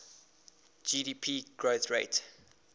gdp growth rate